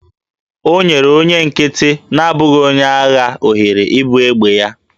O nyere onye nkịtị na-abụghị onye agha ohere ibu egbe ya